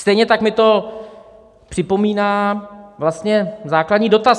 Stejně tak mi to připomíná vlastně základní dotaz.